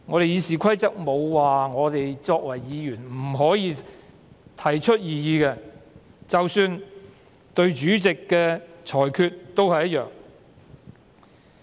《議事規則》沒有說議員不可以提出異議，即使對主席的裁決也一樣。